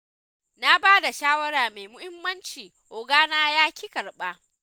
Na ba da shawara mai muhimmanci ogana ya ƙi karɓa.